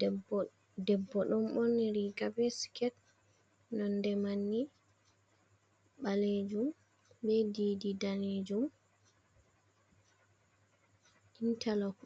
Debbo, debbo ɗon ɓonri riga be siket nonde manni ɓalejum, be didi danejum, intalok